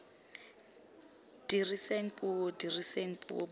diriseng puo diriseng puo bontsha